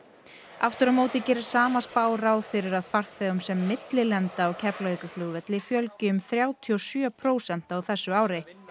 aftur á móti gerir sama spá ráð fyrir að farþegum sem millilenda á Keflavíkurflugvelli fjölgi um þrjátíu og sjö prósent á þessu ári